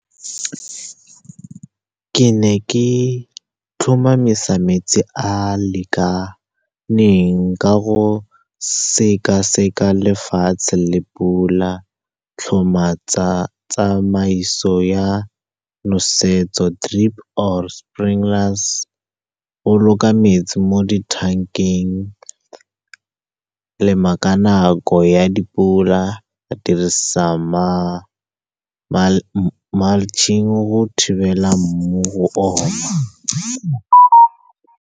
Ke ne ke tlhomamisa metsi a a lekaneng ka go sekaseka lefatshe le pula, tlhoma tsamaiso ya nosetso, drip or sprinklers, go boloka metsi mo ditankeng, lema ka nako ya dipula, dirisa mulching go thibela mmu go oma.